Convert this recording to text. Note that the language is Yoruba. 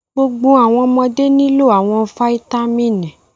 Gbogbo awọn ọmọde nilo awọn fáítámínì